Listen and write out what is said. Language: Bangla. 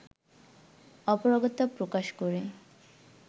অপারগতা প্রকাশ করে